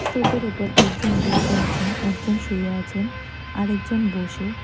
স্তূপের উপর একজন বসে আছেন একজন শুয়ে আছেন আরেকজন বসে।